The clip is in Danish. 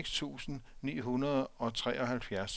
seks tusind ni hundrede og treoghalvfjerds